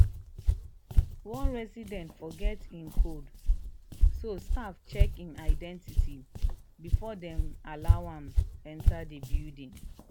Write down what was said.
one resident forget im code so staff check im identity before dem allow am enter the building.